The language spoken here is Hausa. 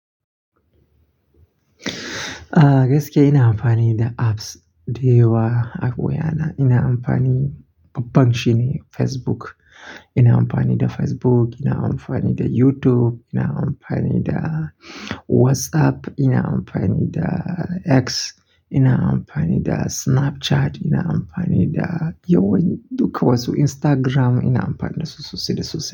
Gaskiya ina amfani da apps da yawa akwai ana, ina amfani babban shine Facebook. Ina amfani da Facebook, ina amfani da YouTube, ina amfani da WhatsApp, ina amfani da X, ina amfani da Snapchat, ina amfani da yawan duka wasu Instagram ina amfani da su sosai da sosai.